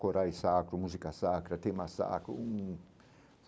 Corais sacro, música sacra, tema sacro hum.